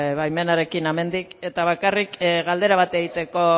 baimenarekin hemendik eta bakarrik galdera bat egiteko